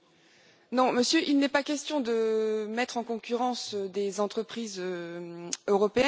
Non, Monsieur, il n'est pas question de mettre en concurrence des entreprises européennes.